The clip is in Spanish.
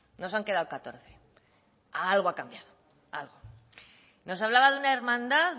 nos han quedado catorce algo ha cambiado algo nos hablaba de una hermandad